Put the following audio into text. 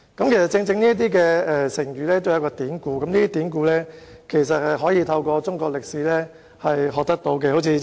成語均有典故，而這些典故其實可以透過學習中國歷史而得知。